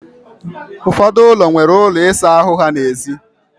Ụfọdụ ụlọ nwere ụlọ ịsa ahụ ha n'èzí.